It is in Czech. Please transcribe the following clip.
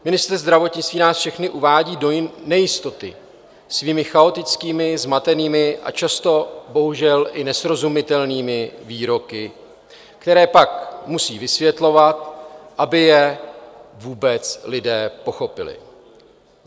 Ministr zdravotnictví nás všechny uvádí do nejistoty svými chaotickými, zmatenými a často bohužel i nesrozumitelnými výroky, které pak musí vysvětlovat, aby je vůbec lidé pochopili.